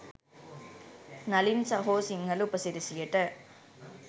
නලින් සහෝ සිංහල උපසිරැසියට.